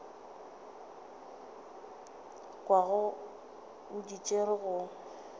kwago o di tšere go